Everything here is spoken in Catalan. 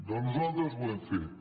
doncs nosaltres ho hem fet